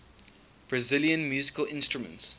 brazilian musical instruments